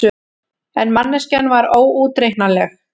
En manneskjan var óútreiknanleg.